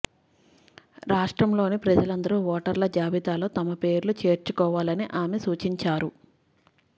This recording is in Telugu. రాష్ట్రంలోని ప్రజలందరూ ఓటర్ల జాబితాలో తమ పేర్లు చేర్చుకోవాలని ఆమె సూచించారు